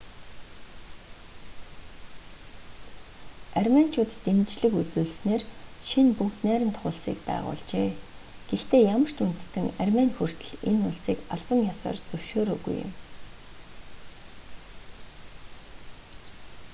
арменичууд дэмжлэг үзүүлснээр шинэ бүгд найрамдах улсыг байгуулжээ гэхдээ ямар ч үндэстэн армени хүртэл энэ улсыг албан ёсоор зөвшөөрөөгүй юм